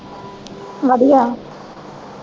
ਵਧੀਆ।